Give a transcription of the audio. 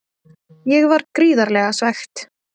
Ég var gríðarlega svekkt.